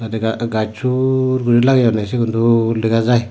ega gacho soorgurine lageyonne sigun dol dega jai.